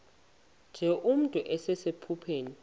nje nomntu osephupheni